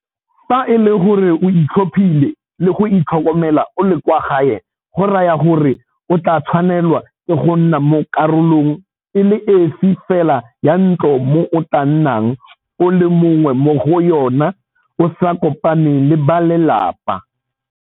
Fa e le gore o itlhophile le go itlhokomela o le kwa gae go raya gore o tla tshwanelwa ke go nna mo karolong e le esi fela ya ntlo mo o tla nnang o le mongwe mo go yona o sa kopane le ba lelapa.